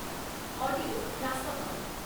audio ହ୍ରାସ କର